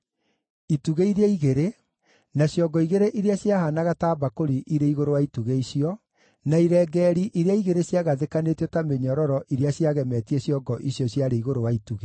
itugĩ iria igĩrĩ, na ciongo igĩrĩ iria ciahaanaga ta mbakũri irĩ igũrũ wa itugĩ icio; na irengeeri iria igĩrĩ ciagathĩkanĩtio ta mĩnyororo iria ciagemetie ciongo icio ciarĩ igũrũ wa itugĩ;